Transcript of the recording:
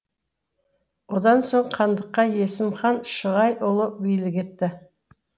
одан соң хандыққа есім хан шығайұлы билік етті